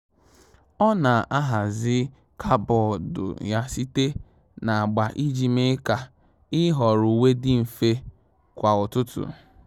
Ọ́ nà-ahàzị́ kàbọ́ọ̀dù yá site na agba iji mee kà ị́họ́rọ́ uwe dị mfe kwa ụ́tụ́tụ́.